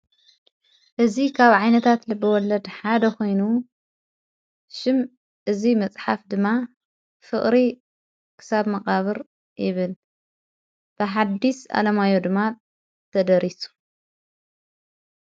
እዝ ኻብ ዓይነታት ልብወለድ ሓደ ኾይኑ ሹም እዙይ መጽሓፍ ድማ ፍቕሪ ክሳብ መቓብር ይብል ብሓድስ ኣለማዮ ድማ ተደሪሱ።